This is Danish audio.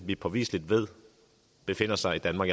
vi påviseligt ved befinder sig i danmark